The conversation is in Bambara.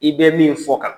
I bɛ min fɔ tan